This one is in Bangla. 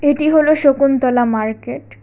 এটি হল শকুন্তলা মার্কেট ।